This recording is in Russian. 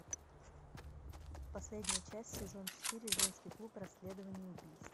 последняя часть сезон четыре женский клуб расследования убийств